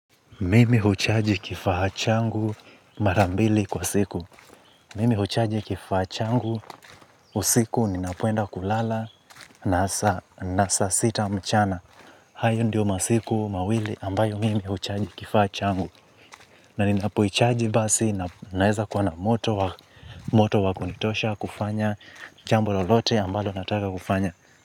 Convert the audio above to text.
Mimi huchaji kifaa changu mara mbili kwa siku. Mimi huchaji kifaa changu usiku ninapoenda kulala na saa sita mchana. Hayo ndio masiku mawili ambayo mimi huchaji kifaa changu. Na ninapoichaji basi naeza kuwa na moto wa moto wa kunitosha kufanya jambo lolote ambalo nataka kufanya.